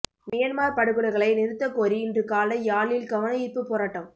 Myanmar படுகொலைகளை நிறுத்தக் கோரி இன்று காலை யாழில் கவனயீர்ப்பு போராட்டம்